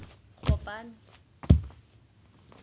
gopane